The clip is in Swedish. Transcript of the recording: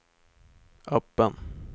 öppen